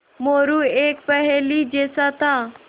मोरू एक पहेली जैसा था